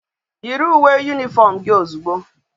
Yiri uwe uniform gi ozugbo